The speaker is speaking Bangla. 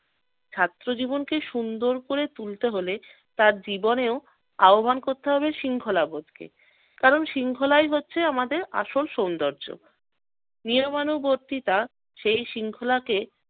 ছাত্র জীবনকে সুন্দর করে তুলতে হলে তার জীবনেও আহবান করতে হবে শৃঙ্খলাবোধকে কারণ শৃঙ্খলাই হচ্ছে আমাদের আসল সৌন্দর্য। নিয়মানুবর্তিতা সেই শৃঙ্খলাকে